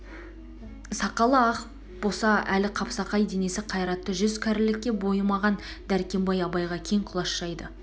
сақалы ақ боса да әлі қапсағай денесі қайратты жүз кәрілікке мойымаған дәркембай абайға кең құлаш жайды